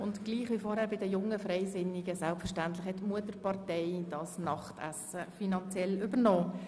Wie bei den Jungfreisinnigen gilt auch bei den Jungen Grünliberalen, dass die Mutterpartei dieses Abendessen finanziert hat.